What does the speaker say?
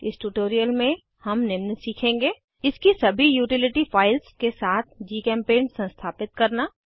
इस ट्यूटोरियल में हम निम्न सीखेंगे इसकी सभी यूटिलिटी फाइल्स के साथ जीचेम्पेंट संस्थापित करना